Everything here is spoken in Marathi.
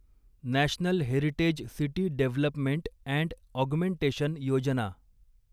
national heritage city development and augmentation Yojana